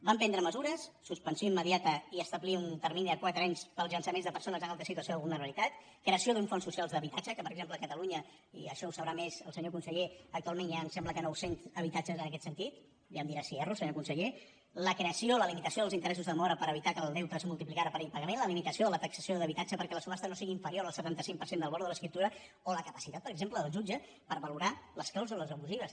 vam prendre mesures suspensió immediata i establir un termini de quatre anys per als llançaments de persones en alta situació de vulnerabilitat creació d’uns fons socials d’habitatge que per exemple a catalunya i això ho deu saber més el senyor conseller actualment hi ha m’ho sembla nou cents habitatges en aquest sentit ja em dirà si erro senyor conseller la creació de la limitació dels interessos de demora per evitar que el deute és multipliqués per impagament la limitació de la taxació d’habitatge perquè la subhasta no sigui inferior al setanta cinc per cent del valor de l’escriptura o la capacitat per exemple del jutge per valorar les clàusules abusives